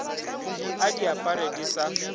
a di apare di sa